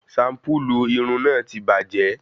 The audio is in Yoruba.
Shampulu Irun náà tí bàjẹ́